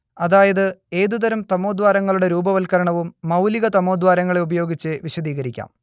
അതായത് ഏതുതരം തമോദ്വാരങ്ങളുടെ രൂപവത്കരണവും മൗലികതമോദ്വാരങ്ങളെ ഉപയോഗിച്ച് വിശദീകരിക്കാം